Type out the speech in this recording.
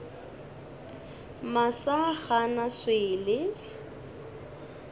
masa ga a na swele